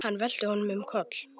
Hann velti honum um koll.